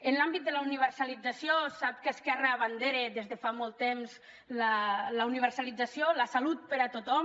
en l’àmbit de la universalització sap que esquerra abandera des de fa molt temps la universalització la salut per a tothom